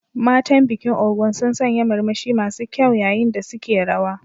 Matan bikin Ogun sun sanya murmushi masu kyau yayin da suke rawa.